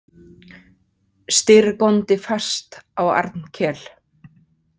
Styrr góndi fast á Arnkel.